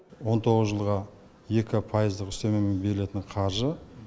он тоғыз жылға екі пайыздық үстемемен берілетін қаржы